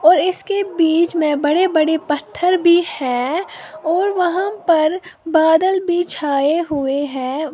और इसके बीच में बड़े बड़े पत्थर भी है और वहां पर बादल भी छाए हुए हैं।